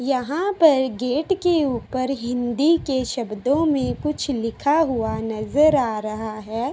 यहाँ पर गेट के ऊपर हिंदी के शब्दों में कुछ लिखा हुआ नज़र आ रहा है।